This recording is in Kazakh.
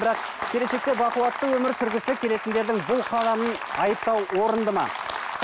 бірақ келешекте бақуатты өмір сүргісі келетіндердің бұл қадамын айыптау орынды ма